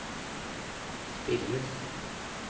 spilles